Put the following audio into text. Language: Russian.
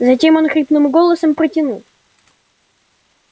затем он хриплым голосом протянул